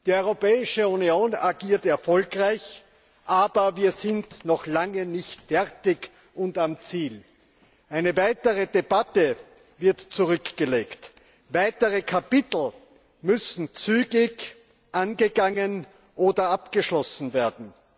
Die Europäische Union agiert erfolgreich, aber wir sind noch lange nicht fertig und am Ziel. Eine weitere Etappe wird zurückgelegt, weitere Kapitel müssen zügig angegangen oder abgeschlossen werden.